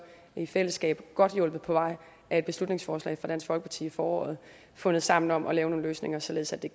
i fællesskab godt hjulpet på vej af et beslutningsforslag fra dansk folkeparti i foråret fundet sammen om at lave nogle løsninger således at det